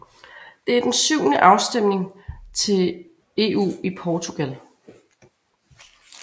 Det er den syvende afstemning til EU i Portugal